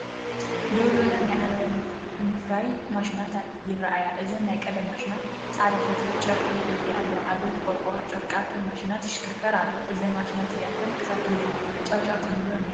ደው ዝበላ ናይ ዓለባ ምፍራይ ማሽናት ይረኣያ። እዘን ናይ ቀደም ማሽናት ጻዕዳ ፈትሊ/ጨርቂ የፍርያ ኣለዋ። ዓበይቲ ቆርቆሮ ጨርቂ ኣብተን ማሽናት ይሽክርከር ኣሎ። እዘን ማሽናት እዚኣተን ክሳብ ክንደይ ጫውጫው ክህልወን ይኽእል?